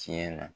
Tiɲɛ na